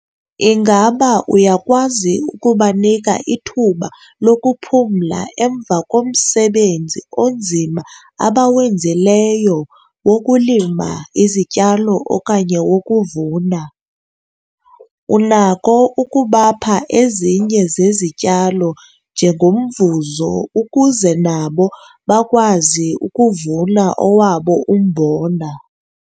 Ingaba uyakwazi ukubanika ithuba lokuphumla emva komsebenzi onzima abawenzileyo wokulima izityalo okanye wokuvuna? Unako ukubapha ezinye zezityalo njengomvuzo ukuze nabo bakwazi ukuvuna owabo umbona?